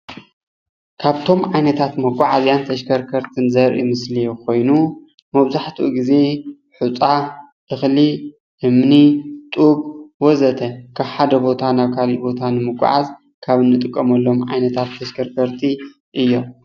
ካብቶም ዓይነታት መጓዓዝያን ተሽከርከርትን ዘርኢ ምስሊ ኮይኑ መብዛሕትኡ ግዜ ሑፃ፣ እክሊ፣ እምኒ፣ ጡብ ወዘተ ካብ ሓደ ቦታ ናብ ካሊእ ንምጓዓዝ ካብ አንጥቀመሎም ዓይነታት ተሽከርከርቲ እዩም፡፡